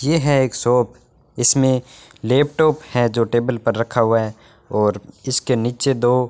ये है एक शॉप इसमें लैपटॉप है जो टेबल पर रखा हुआ है और इसके नीचे दो --